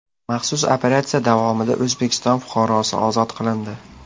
Maxsus operatsiya davomida O‘zbekiston fuqarosi ozod qilindi.